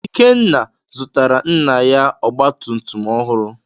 Ikenna zụtara nna ya ọgba tum tum ọhụrụ.